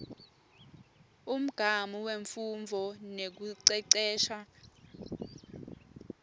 umgamu wemfundvo nekucecesha